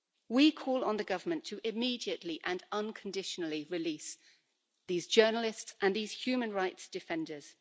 We call on the government to, immediately and unconditionally, release these journalists and these human rights defenders.